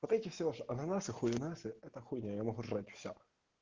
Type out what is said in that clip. вот эти все ваши ананасы хуенасы это хуйня я могу жрать всё